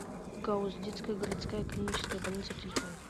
гауз детская городская клиническая больница телефон